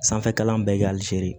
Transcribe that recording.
Sanfɛ kalan bɛɛ kɛ hali se